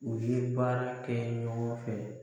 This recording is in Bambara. U ye baara kɛ ɲɔgɔn fɛ.